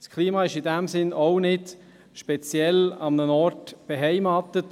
Das Klima ist in diesem Sinne auch nicht speziell an einem Ort beheimatet.